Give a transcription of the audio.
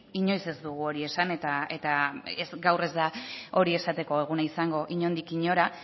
inoiz ez dugu hori esan eta gaur ez da hori esateko eguna izango inondik inora